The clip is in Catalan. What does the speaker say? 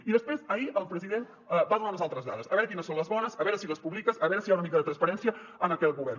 i després ahir el president va donar unes altres dades a veure quines són les bones a veure si les publiques a veure si hi ha una mica de transparència en aquest govern